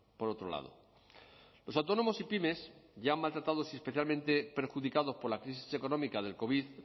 por otro lado los autónomos y pymes ya maltratados y especialmente perjudicados por la crisis económica del covid